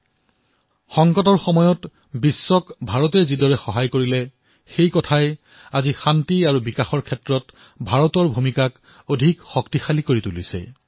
ভাৰতে যিদৰে কঠিন সময়ত বিশ্বৰ সহায় কৰিছে তাৰ দ্বাৰা শান্তি আৰু বিকাশত ভাৰতৰ ভূমিকা অধিক শক্তিশালী কৰি তুলিছে